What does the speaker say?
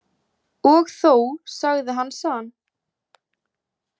Og þó, sagði hann san.